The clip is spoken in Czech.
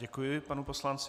Děkuji panu poslanci.